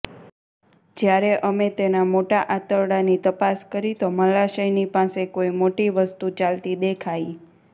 જ્યારે અમે તેના મોટા આંતરડાની તપાસ કરી તો મલાશયની પાસે કોઇ મોટી વસ્તુ ચાલતી દેખાઈ